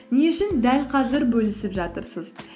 не үшін дәл қазір бөлісіп жатырсыз